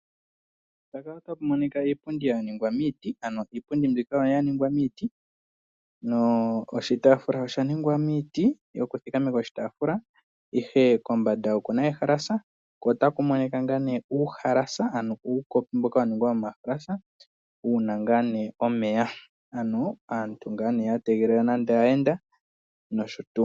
Mpaka otapu monika iipundi ya ningwa miiti. Oshitaafula sha ningwa miiti kombanda kuna ehalasa , nuuhalasa wuna omeya.